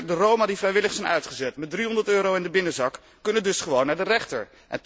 De Roma die vrijwillig zijn uitgezet met 300 euro in de binnenzak, kunnen dus gewoon naar de rechter.